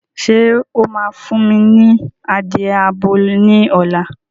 Ṣé o máa fún mi ní adìye abo ní ọ̀la